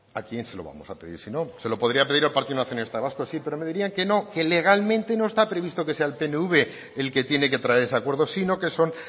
a quién se lo vamos a pedir si no se lo podría pedir al partido nacionalista vasco sí pero me dirían que no que legalmente no está previsto que sea el pnv el que tiene que traer ese acuerdo sino que son